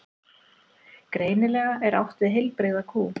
Greinilega er átt við heilbrigða kú.